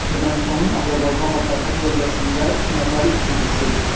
Ermənistanın Azərbaycanla sərhəd bölgəsində iki nəfər itkin düşüb.